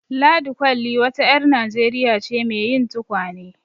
Ladi Kwalli wa ta ƴar Najeriya ce mai yin tukwane.